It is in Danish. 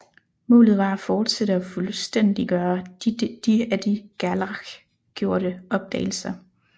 Målet var at fortsætte og fuldstændiggøre de af de Gerlache gjorte opdagelser